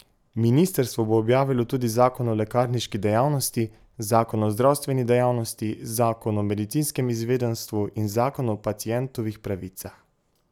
Ministrstvo bo objavilo tudi zakon o lekarniški dejavnosti, zakon o zdravstveni dejavnosti , zakon o medicinskem izvedenstvu in zakon o pacientovih pravicah.